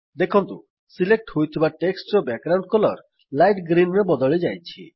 ଦେଖନ୍ତୁ ସିଲେକ୍ଟ ହୋଇଥିବା ଟେକ୍ସଟ୍ ର ବ୍ୟାକଗ୍ରାଉଣ୍ଡ୍ କଲର୍ ଲାଇଟ୍ ଗ୍ରୀନ୍ ରେ ବଦଳି ଯାଇଛି